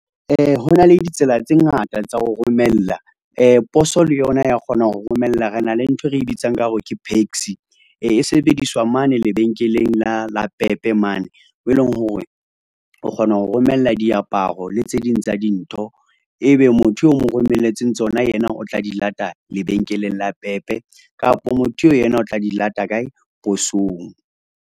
Ho na le ditsela tse ngata tsa ho romela poso le yona ya kgona ho romella, re na le nthwe re bitsang ka hore ke PAXI e sebediswa mane lebenkeleng la Pep mane, mo leng hore o kgona ho romella diaparo le tse ding tsa dintho. Ebe motho o mo romelletseng tsona, yena o tla di lata lebenkeleng la Pep-e kapo motho eo yena o tla di lata kae, posong.